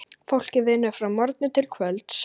Fólkið vinnur frá morgni til kvölds.